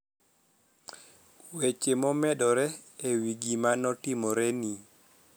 weche momedore ewi gimanotimoreni